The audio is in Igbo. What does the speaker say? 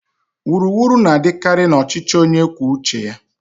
Wuru wuru na-adịkarị na ọchịchị onye kwuo uche ya.